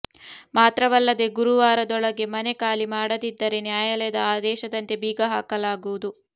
ಮಾತ್ರವಲ್ಲದೇ ಗುರುವಾರದೊಳಗೆ ಮನೆ ಖಾಲಿ ಮಾಡದಿದ್ದರೆ ನ್ಯಾಯಾಲಯದ ಆದೇಶದಂತೆ ಬೀಗ ಹಾಕಲಾಗುವುದು